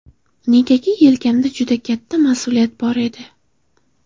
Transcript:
Negaki, yelkamda juda katta mas’uliyat bor edi.